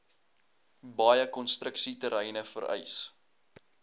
baie konstruksieterreine vereis